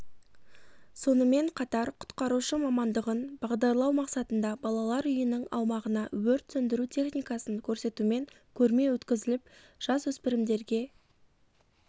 сонымен қатар құтқарушы мамандығын бағдарлау мақсатында балалар үйінің аумағына өрт сөндіру техникасын көрсетумен көрме өткізіліп жасөспірімдерге